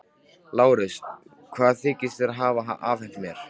LÁRUS: Hvað þykist þér hafa afhent mér?